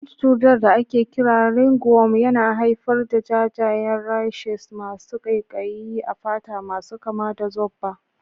Wani cutar da ake kira ringworm yana haifar da jajayen rashes masu ƙaiƙayi a fata masu kama da zobba.